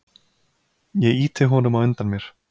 Ég ýti honum á undan mér.